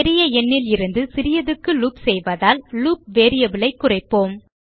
பெரிய எண்ணிலிருந்து சிறியதுக்கு லூப் செய்வதால் லூப் variable ஐ குறைப்போம்